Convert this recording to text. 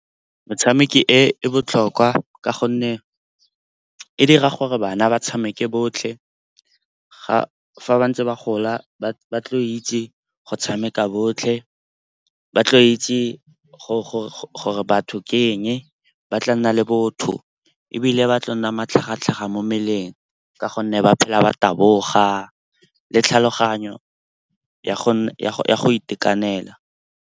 Motshameki e botlhokwa ka gonne e dira gore bana ba tshameke botlhe. Fa ba ntse ba gola ba tlile go itse go tshameka botlhe. Ba tlo itse gore batho ke eng, ba tla nna le botho ebile ba tla nna matlhagatlhaga mo mmeleng ka gonne ba phela ba taboga le tlhaloganyo ya go itekanela.